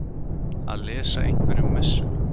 Að lesa einhverjum messuna